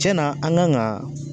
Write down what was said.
Tiɲɛn na an kan ka